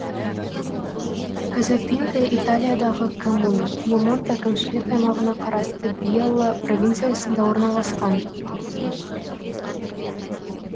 казапинта италиядағы коммуна пьемонт әкімшілік аймағына қарасты бьелла провинциясында орналасқан